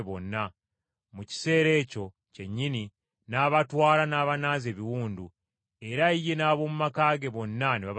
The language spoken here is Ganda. Mu kiseera ekyo kyennyini n’abatwala n’abanaaza ebiwundu. Era ye n’ab’omu maka ge bonna ne babatizibwa.